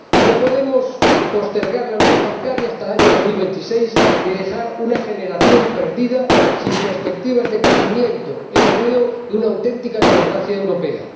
No podemos postergar la unión bancaria hasta el año 2026, ni dejar una generación perdida, sin perspectivas de crecimiento, empleo y una auténtica democracia europea.